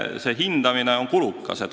See hindamine on kulukas.